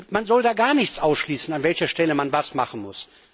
Man soll gar nichts ausschließen, an welcher Stelle man was machen muss.